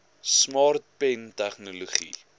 smart pen tegnologie